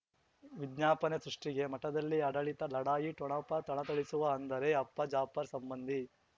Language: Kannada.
ವಿಜ್ಞಾಪನೆ ಸೃಷ್ಟಿಗೆ ಮಠದಲ್ಲಿ ಆಡಳಿತ ಲಢಾಯಿ ಠೊಣಪ ಥಳಥಳಿಸುವ ಅಂದರೆ ಅಪ್ಪ ಜಾಫರ್ ಸಂಬಂಧಿ